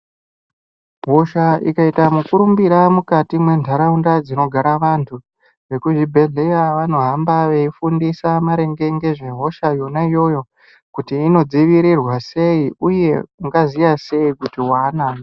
Hosha ikaita mukurumbira mukati mwentaraunda dzinogara vantu, vekuzvibhedhleya vanohamba veifundisa maringe ngezvehosha yona iyoyo kuti inodzivirirwa sei uye ungaziya sei kuti waanayo.